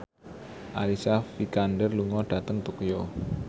Alicia Vikander lunga dhateng Tokyo